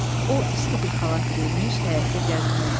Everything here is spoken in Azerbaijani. O isti bir xalat geyinmiş, həyətdə gəzinirdi.